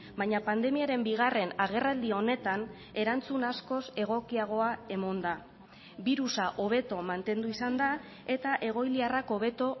baina pandemiaren bigarren agerraldi honetan erantzun askoz egokiagoa emon da birusa hobeto mantendu izan da eta egoiliarrak hobeto